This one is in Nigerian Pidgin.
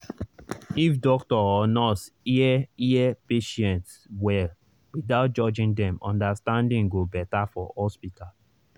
if doctor or nurse hear hear patient well without judging dem understanding go better for hospital.